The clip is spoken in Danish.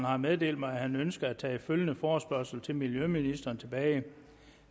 har meddelt mig at han ønsker at tage følgende forespørgsel til miljøministeren tilbage